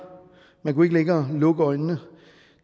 man kunne ikke længere lukke øjnene